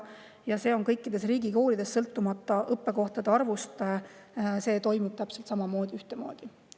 Ja kõikides riigikoolides, sõltumata õppekohtade arvust, toimub see täpselt samamoodi, ühtemoodi.